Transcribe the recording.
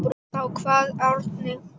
Þá kvað Árni